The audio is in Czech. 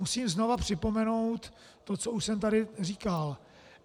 Musím znovu připomenout to, co už jsem tady říkal.